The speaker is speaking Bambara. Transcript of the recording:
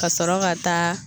Ka sɔrɔ ka taa